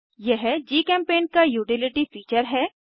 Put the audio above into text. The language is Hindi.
यह जीचेम्पेंट का यूटिलिटी फीचर है